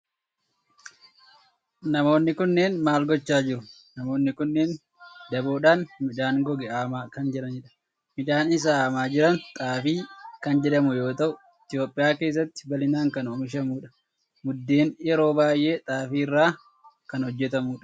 namoonni kunneen maal gochaa jiru? Namoonni kunneen daboodhan midhaan goge haamaa kan jiranidha. midhaan isaa haamaa jiran xaafii kan jedhamu yoo ta'u Itiyoophiyaa keessatti bal'inaan kan oomishamudha. Buddeen yeroo baayyee xaafii irraa kan hojjetamudha.